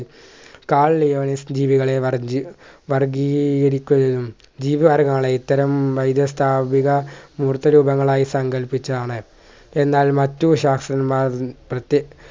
കാൽ ജീവികളെ വർഗി വർഗീകരിക്കുകയും ഗീധ്വാരങ്ങളാണ് ഇത്തരം വൈദ്യ സ്ഥാപിത മൂർത്ത രൂപങ്ങളായി സങ്കൽപ്പിച്ചാണ് എന്നാൽ മറ്റു ശാസ്ത്രന്മാർ പ്രത്തെ